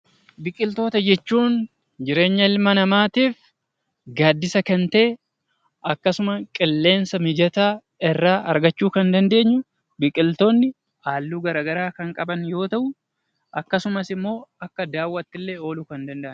Biqiltoota jechuun jireenya ilma namaatiif gaadisa kan ta'e, akkasuma qilleensa mijataa irraa argachuu kan dandeenyu, biqiltoonni halluu garaagaraa kan qaban yoo ta'u, akkasumatti illee akka daawaatti illee ooluu kan danda'anidha.